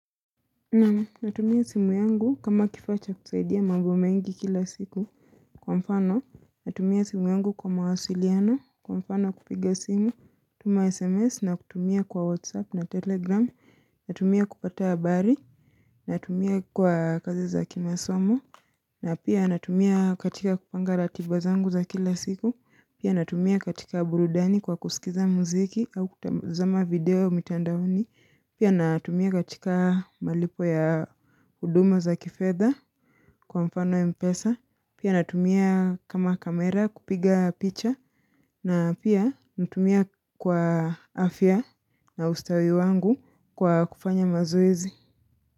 Natumia simu yangu kama kifaa cha kusaidia mambo mengi kila siku kwa mfano. Natumia simu yangu kwa mawasiliano, kwa mfano kupiga simu, kutuma sms na kutumia kwa whatsapp na telegram. Natumia kupata habari, natumia kwa kazi za kimasomo. Na pia natumia katika kupanga ratiba zangu za kila siku na pia natumia katika burudani kwa kusikiza muziki au kutazama video mtandaoni Pia natumia katika malipo ya huduma za kifedha kwa mfano mpesa Pia natumia kama kamera kupiga picha na pia natumia kwa afya na ustawi wangu kwa kufanya mazoezi.